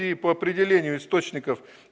и по определению источников